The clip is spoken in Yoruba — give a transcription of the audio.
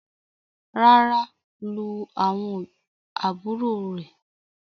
ràrá lu awọn àbúrò rẹ.